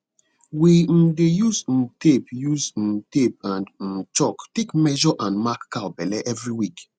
we um dey use um tape use um tape and um chalk take measures and mark cow belle every week